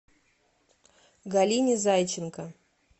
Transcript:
галине зайченко